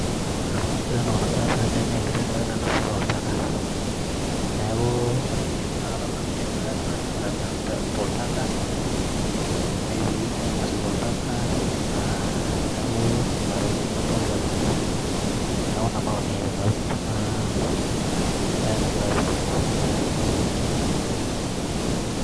Ore entoki nagira aasa tene nee enkiteng' ena nainosita oltaka, neeku ore empisha nadolta nkishu nairagita toltaka netii nainosita oltaka, naa neeku nena tokitin adolta tene. Neeku ina maoni ai te tenaa baye nagira aasa tene.